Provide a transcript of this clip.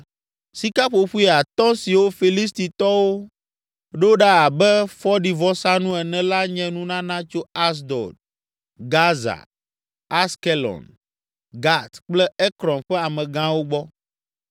Sikaƒoƒoe atɔ̃ siwo Filistitɔwo ɖo ɖa abe fɔɖivɔsanu ene la nye nunana tso Asdod, Gaza, Askelon, Gat kple Ekron ƒe amegãwo gbɔ.